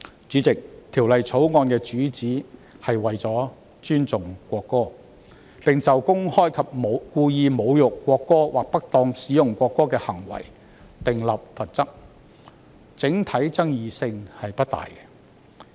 主席，《條例草案》的主旨是尊重國歌，並就公開及故意侮辱國歌或不當使用國歌的行為訂立罰則，爭議性不大。